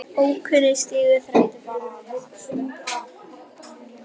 Ókunna stigu þræddu bara afglapar eða ofurhugar.